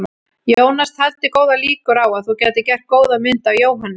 Jónas taldi góðar líkur á að þú gætir gert góða mynd af Jóhanni.